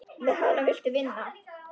Með hana viltu vinna.